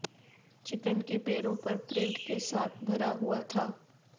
chicken کے پیروں پر پرنٹ کے ساتھ بھرا ہوا تھا